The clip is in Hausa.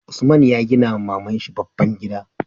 Usman ya gina wa maman shi babban gida